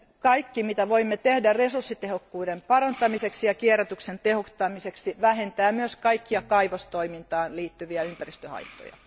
Kaikki mitä voimme tehdä resurssitehokkuuden parantamiseksi ja kierrätyksen tehostamiseksi vähentää myös kaikkia kaivostoimintaan liittyviä ympäristöhaittoja.